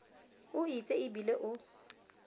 o itse e bile o